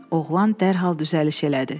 Oğlan dərhal düzəliş elədi.